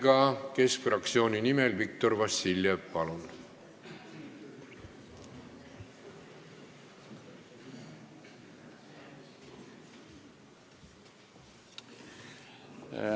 Keskerakonna fraktsiooni nimel Viktor Vassiljev, palun!